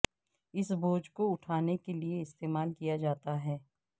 اس بوجھ کو اٹھانے کے لئے استعمال کیا جاتا ہے